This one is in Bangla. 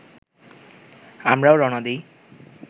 আমরাও রওনা দিই